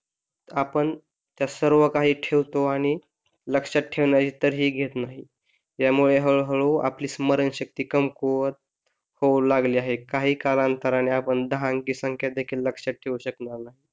आपण त्या सर्व काही ठेवतो आणि लक्षात तर ही घेत नाही यामुळे हळूहळू आपली स्मरणशक्ती कमकुवत होऊ लागली आहे काही कालांतराने आपण दहा अंकी संख्या देखील लक्षात ठेऊ शकणार नाही